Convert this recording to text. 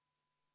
Palun!